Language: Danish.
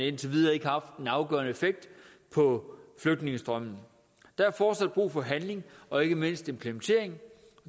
indtil videre har afgørende effekt på flygtningestrømmen der er fortsat brug for handling og ikke mindst implementering